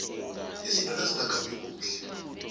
izinto nazingakhambi kuhle